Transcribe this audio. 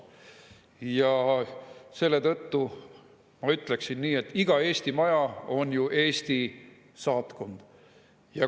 Ja selle tõttu ma ütleksin nii, et iga Eesti Maja on ju Eesti saatkond.